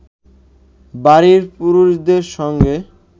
বাড়ির পুরুষদের সঙ্গে